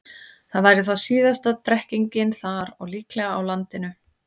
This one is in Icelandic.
Það væri þá síðasta drekkingin þar og líklega á landinu.